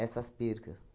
essas perca.